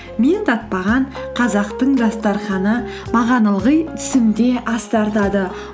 мен татпаған қазақтың дастарханы маған ылғи түсімде ас тартады